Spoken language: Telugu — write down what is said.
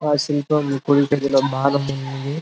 ఆ శిల్పం బానే ఉంది.